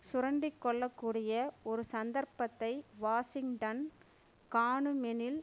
சுரண்டிக்கொள்ளக்கூடிய ஒரு சந்தர்ப்பத்தை வாஷிங்டன் காணுமெனில்